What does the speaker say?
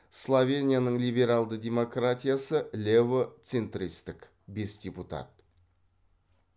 словенияның леберальды демократиясы лево центристік бес депутат